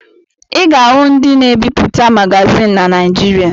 Ị ga-ahụ ndị na-ebipụta magazịn na Naịjịrịa.